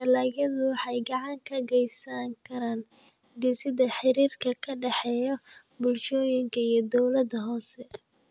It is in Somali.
Dalagyadu waxay gacan ka geysan karaan dhisidda xiriirka ka dhexeeya bulshooyinka iyo dawladaha hoose.